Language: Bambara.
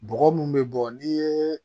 Bɔgɔ mun bɛ bɔ ni ye